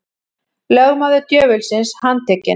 Lögmaður djöfulsins handtekinn